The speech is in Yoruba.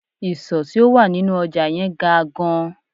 Ìsò tí ó wà nínú ọjà yẹn ga gan